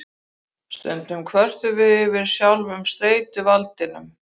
Stundum kvörtum við yfir sjálfum streituvaldinum.